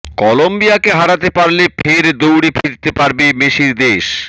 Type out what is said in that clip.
কলম্বিয়াকে হারাতে পারলে ফের দৌড়ে ফিরতে পারে মেসির দেশ